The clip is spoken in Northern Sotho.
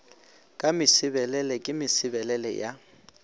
ka mesebelele ke mesebelele ya